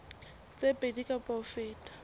tse pedi kapa ho feta